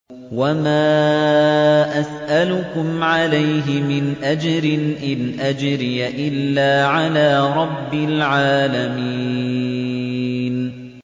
وَمَا أَسْأَلُكُمْ عَلَيْهِ مِنْ أَجْرٍ ۖ إِنْ أَجْرِيَ إِلَّا عَلَىٰ رَبِّ الْعَالَمِينَ